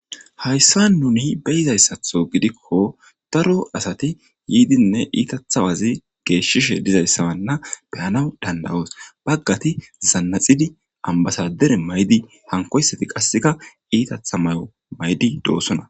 hayssa nuni beyizayssatho gidikko daro asati yiidinne iitathawazi geeshshishe dizayssawanna beyanaw dandawoos baggati zannaxidi ambasadere maydi hankoysati qasseka iitatha may7o maydi doossona